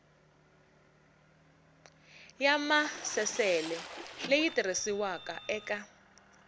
ya maasesele leyi tirhisiwaka eka